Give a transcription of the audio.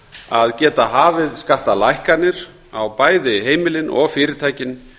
að geta hafið skattalækkanir á bæði heimilin og fyrirtækin